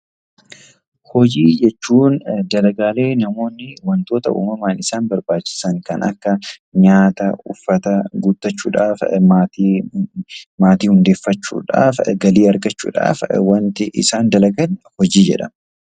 Hojii jechuun dalagaalee namoonni uumamaan waantota isaan barbaachisan kan akka nyaata, uffataa guuttachuudhaaf, maatii hundeeffachuudhaaf, galii argachuudhaaf waanti isaan dalagan hojii jedhama.